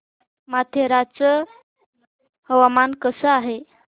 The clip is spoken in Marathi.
माथेरान चं हवामान कसं आहे